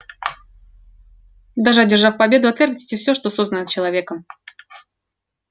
даже одержав победу отвергните все что создано человеком